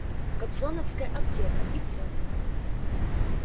кобзоновская аптека и всё